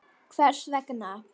Hvers vegna?